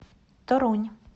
торунь